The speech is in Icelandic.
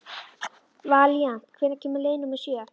Valíant, hvenær kemur leið númer sjö?